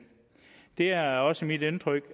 det er også mit indtryk